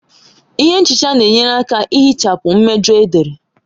Ihe nchicha na-enyere aka ihichapụ mmejọ edere